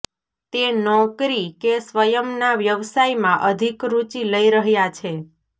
તે નૌકરી કે સ્વયં ના વ્યવસાયમાં અધિક રૂચિ લઈ રહ્યાં છે